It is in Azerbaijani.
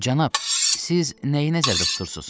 Cənab, siz nəyi nəzərdə tutursunuz?